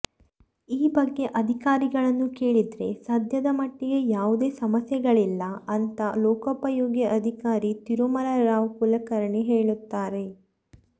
ಈ ಬಗ್ಗೆ ಅಧಿಕಾರಿಗಳನ್ನು ಕೇಳಿದ್ರೆ ಸದ್ಯದ ಮಟ್ಟಿಗೆ ಯಾವುದೇ ಸಮಸ್ಯೆಗಳಿಲ್ಲ ಅಂತ ಲೋಕೋಪಯೋಗಿ ಅಧಿಕಾರಿ ತಿರುಮಲರಾವ್ ಕುಲಕರ್ಣಿ ಹೇಳುತ್ತಾರೆ